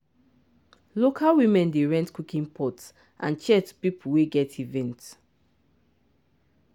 local women dey rent cooking pot and chair to people wey get event.